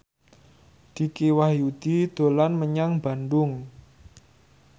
Dicky Wahyudi dolan menyang Bandung